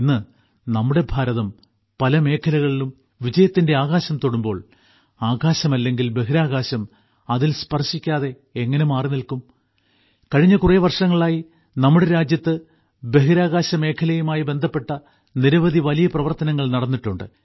ഇന്ന് നമ്മുടെ ഭാരതം പല മേഖലകളിലും വിജയത്തിന്റെ ആകാശം തൊടുമ്പോൾ ആകാശം അല്ലെങ്കിൽ ബഹിരാകാശം അതിൽ സ്പർശിക്കാതെ എങ്ങനെ മാറിനിൽക്കും കഴിഞ്ഞ കുറെ വർഷങ്ങളായി നമ്മുടെ രാജ്യത്ത് ബഹിരാകാശ മേഖലയുമായി ബന്ധപ്പെട്ട നിരവധി വലിയ പ്രവർത്തനങ്ങൾ നടന്നിട്ടുണ്ട്